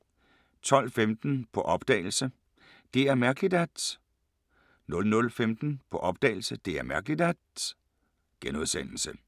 12:15: På opdagelse – Det er mærkeligt at ... 00:15: På opdagelse – Det er mærkeligt at ...*